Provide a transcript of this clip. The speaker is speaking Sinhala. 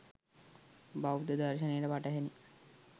බෞද්ධ දර්ශනයට පටහැනි